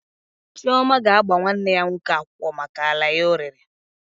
Chioma ga-agba nwanne ya nwoke akwụkwọ maka ala ya o rere